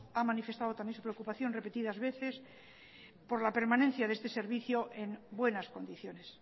ha manifestado también su preocupación repetidas veces por la permanencia de este servicio en buenas condiciones